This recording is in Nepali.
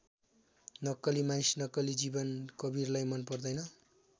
नक्कली मानिस नक्कली जीवन कवीरलाई मन पर्दैन।